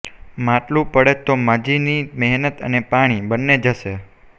માટલું પડે તો માજીની મહેનત અને પાણી બંને જશે